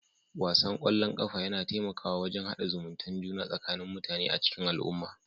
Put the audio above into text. Wasan ƙwallon ƙafa yana taimakawa wajen hada zumuntae juna tsakanin mutane a cikin al'umma